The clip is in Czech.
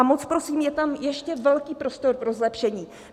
A moc prosím, je tam ještě velký prostor pro zlepšení.